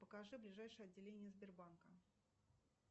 покажи ближайшее отделение сбербанка